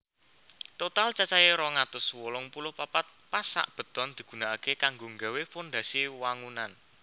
Total cacahe rong atus wolung puluh papat pasak beton digunakake kanggo nggawé fondasi wangunan